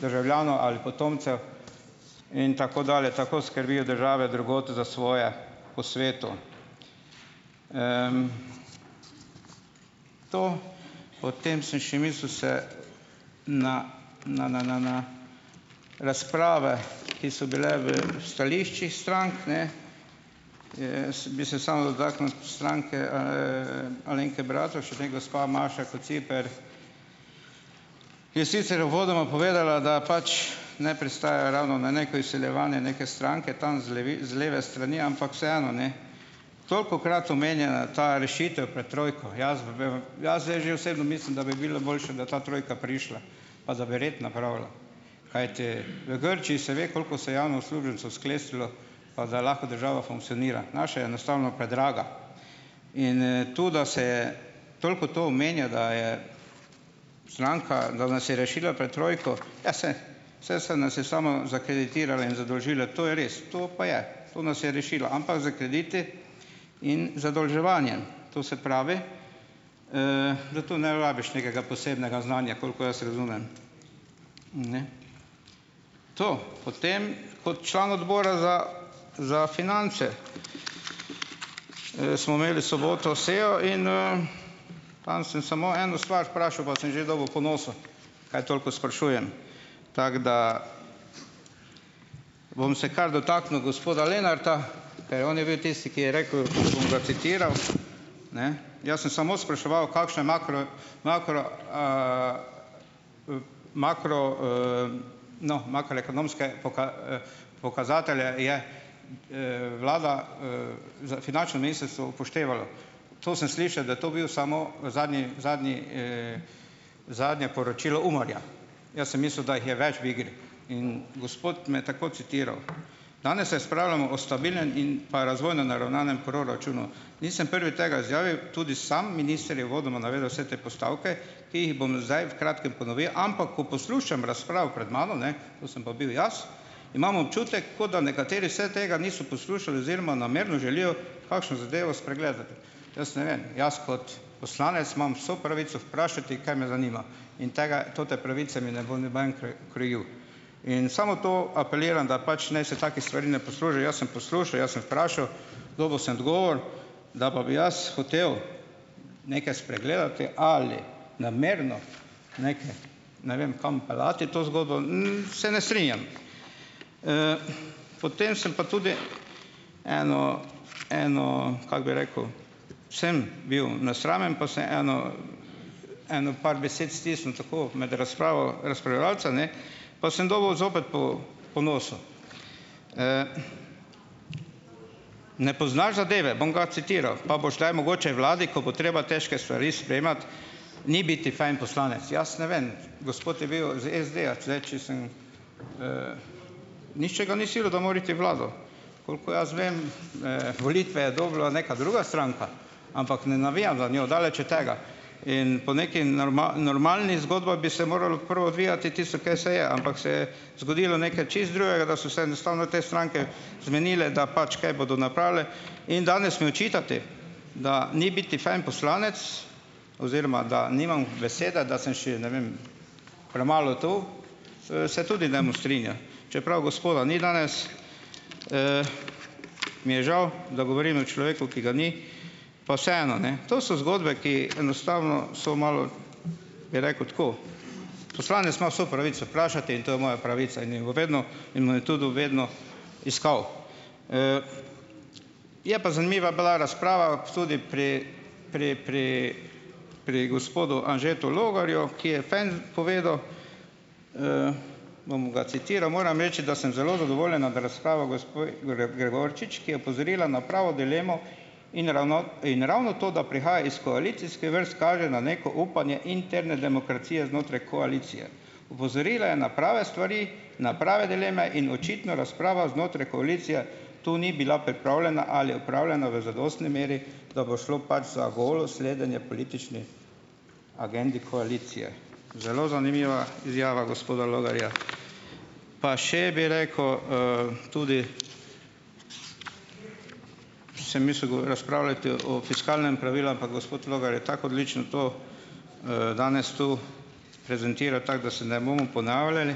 državljanov ali potomcev in tako dalje. Tako skrbijo države drugod za svoje po svetu. To. Potem sem še mislil se na na na na na razprave, ki so bile v stališčih strank ne , bi se samo dotaknil stranke Alenke Bratušek, ne. Gospa Maša Kociper je sicer uvodoma povedala, da pač ne pristaja ravno na neko izsiljevanje neke stranke tam z leve strani, ampak vseeno, ne, tolikokrat omenjena ta rešitev pred trojko, jaz zdaj že osebno mislim, da bi bilo boljše, da bi ta trojka prišla, pa da bi red napravila, kajti v Grčiji se ve, koliko se je javno uslužbencev sklestilo, pa da lahko država funkcionira, naša je enostavno predraga. Inn to, da se toliko to omenja, da je stranka, da nas je rešila pred trojko, ja, se se se nas je samo zakreditirale in zadolžile, to je res, to pa je, to nas je rešila, ampak s krediti in zadolževanjem. To se pravi, da to ne rabiš nekega posebnega znanja, koliko jaz razumem. Ne. To potem kot član Odbora za za finance smo imeli v soboto sejo in tam sem samo eno stvar vprašal, pa sem že dobil po nosu, kaj toliko sprašujem. Tako da bom se kar dotaknil gospoda Lenarta, on je bil tisti, ki je rekel, bom ga citiral , ne, jaz sem samo spraševal, kakšne makro-, makro-, makro-, no, makroekonomske pokazatelje je vlada finančno ministrstvo upoštevalo. To sem slišal, da je to bil samo zadnji, zadnji zadnje poročilo UMAR-ja. Jaz sem mislil, da jih je več v igri. In gospod me je tako citiral: "Danes razpravljamo o stabilnem in pa razvojno naravnanem proračunu." Nisem prvi tega izjavil. Tudi sam minister je uvodoma navedel vse te postavke, ki jih bom zdaj v kratkem ponovil. Ampak ko poslušam razpravo pred mano, ne, to sem pa bil jaz, imam občutek, kot da nekateri se tega niso poslušali oziroma namerno želijo kakšno zadevo spregledati. Jaz ne vem, jaz kot poslanec imam vso pravico vprašati, kaj me zanima. In tega te pravice mi ne bo noben krojil. In samo to apeliram, da pač naj se takih stvari ne Jaz sem poslušal, jaz sem vprašal. Dobil sem odgovor. Da pa bi jaz hotel nekaj spregledati ali namerno neke, ne vem, kam peljati to zgodbo, se ne strinjam. Potem sem pa tudi , eno eno kako bi rekel, sem bil nesramen, pa samo eno eno par besed stisnil tako med razpravo razpravljavcev, ne, pa sem dobil zopet po po nosu. Ne poznaš zadeve. Bom ga citiral, pa boš le mogoče vladi, ko bo treba težke stvari sprejemati, ni biti fajn poslanec. Jaz ne vem, gospod je bil iz SD-ja tule, če sem ... Nihče ga ni silil, da mora iti v vlado. Kolikor jaz vem, volitve je dobila neka druga stranka. Ampak ne navijam za njo, daleč od tega. In pol neki normalni zgodba bi se moralo prvo odvijati tisto, kaj se je, ampak se je zgodilo nekaj čisto drugega, da so enostavno te stranke zmenile, da pač kaj bodo napravile. In danes mi očitate, da ni biti fajn poslanec oziroma da nimam besede, da sem še, ne vem, premalo tu, se tudi ne strinjal. Čeprav gospoda ni danes, mi je žal, da govorim o človeku, ki ga ni, pa vseeno, ne. To so zgodbe, ki enostavno so malo, bi rekel, tako. Poslanec ima vso pravico vprašati in to je moja pravica iskal. Je pa zanimiva bila razprava tudi pri pri pridi pri gospodu Anžetu Logarju, ki je fen povedal, bom ga "Moram reči, da sem zelo zadovoljen nad razpravo gospe Gregorčič, ki je opozorila na pravo dilemo in ravno, in ravno to, da prihaja iz koalicijske vrst kaže na neko upanje interne demokracije znotraj koalicije. Opozorila je na prave stvari, na prave dileme in očitno razprava znotraj koalicije to ni bila pripravljena ali opravljena v zadostni meri, da bo šlo pač za golo sledenje politični agendi koalicije." Zelo zanimiva izjava gospoda Logarja. Pa še, bi rekel, tudi sem mislil razpravljati o fiskalnem pravilu, ampak gospod Logar je tako odlično to danes tu tako da se ne bomo ponavljali.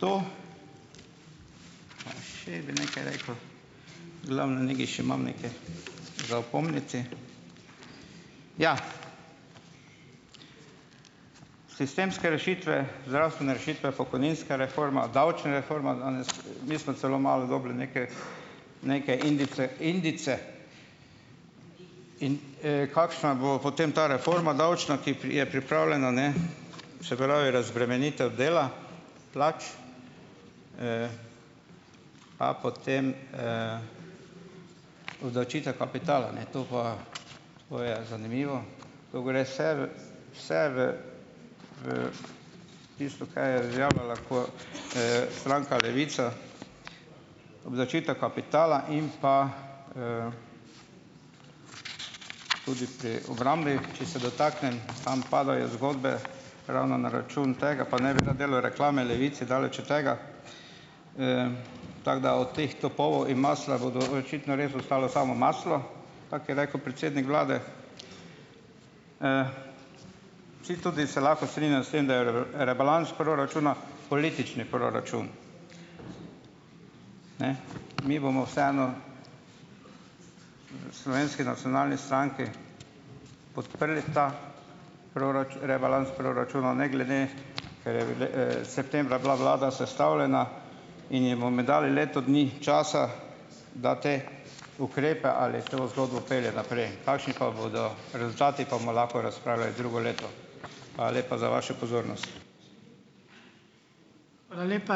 To. Pa še bi nekaj rekel. Glavnem nekaj še imam nekaj za opomniti. Ja. Sistemske rešitve, zdravstvene rešitve, pokojninska reforma, davčna reforma danes. Mi smo celo malo dobili neke neke indice, indice, in kakšna bo potem ta reforma davčna, ki je pripravljena, ne. Se pravi, razbremenitev dela, plač, pa potem obdavčitve kapitala, ne, to pa. To je zanimivo. To gre vse v, vse v tisto, kaj je stranka Levica, obdavčitev kapitala in pa tudi pri obrambi, če se dotaknem. Tam padajo zgodbe ravno na račun tega, pa ne bi rad delal reklame Levici, daleč od tega, tako da o teh topov in masla bodo očitno res ostalo samo maslo, tako je rekel predsednik vlade. Vsi tudi se lahko strinjajo s tem, da je rebalans proračuna politični proračun. Ne, mi bomo vseeno, v Slovenski nacionalni stranki, podprli ta rebalans proračuna, ne glede, septembra bila vlada sestavljena, in ji bom dali leto dni časa, da te ukrepe ali to zgodbo pelje naprej. Kakšni pa bodo rezultati, pa bomo lahko razpravljali drugo leto. Hvala lepa za vašo pozornost. Hvala lepa.